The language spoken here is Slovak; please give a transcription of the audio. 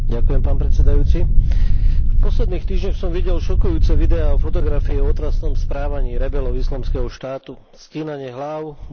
V posledných týždňoch som videl šokujúce videá, fotografie o otrasnom správaní rebelov islamského štátu, stínanie hláv, mučenie, beštiálne prejavy.